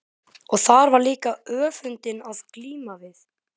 Og þar var líka öfundin að glíma við.